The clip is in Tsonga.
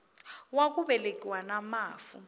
wa ku velekiwa na mafu